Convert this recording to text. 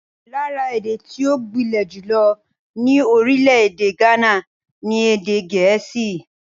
Lára èdè tí ó gbilẹ̀ jùlọ ní orílẹ̀-èdè Ghana ni Èdè Gẹ̀ẹ́sì.